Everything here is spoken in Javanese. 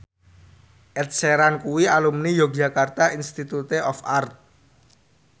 Ed Sheeran kuwi alumni Yogyakarta Institute of Art